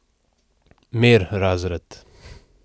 Mir, razred!